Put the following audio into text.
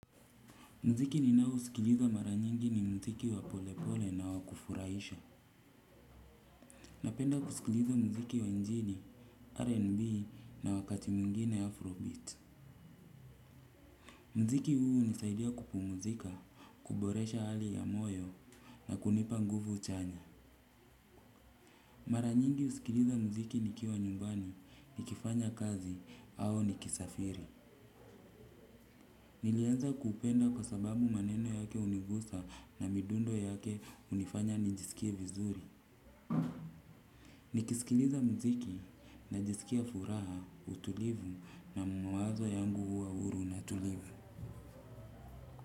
Mziki ninao usikiliza mara nyingi ni mziki wa polepole na wa kufuraisha. Napenda kusikiliza mziki wa injili R&B na wakati mungine Afrobeat. Mziki huu unisaidia kupumzika, kuboresha hali ya moyo na kunipa nguvu chanya. Mara nyingi husikiliza mziki nikiwa nyumbani, nikifanya kazi, au nikisafiri. Nilianza kupenda kwa sababu maneno yake unigusa na midundo yake unifanya nijisikie vizuri. Nikisikiliza mziki najisikia furaha utulivu na mawazo yangu huwa huru na tulivu.